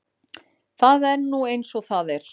Það er nú eins og það er.